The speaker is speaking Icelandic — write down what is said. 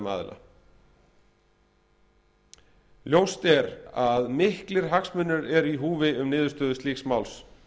aðila ljóst er að miklir hagsmunir eru í húfi um niðurstöðu slíks máls